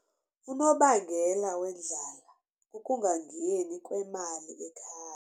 Unobangela wendlala kukungangeni kwemali ekhaya.